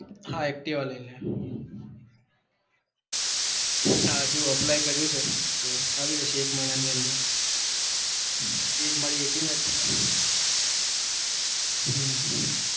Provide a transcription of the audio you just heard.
હા activa લઈને ના હજુ apply કર્યું છે તો આવી જશે એક મહિના ની અંદર age મારી eighteen જ છે. હમ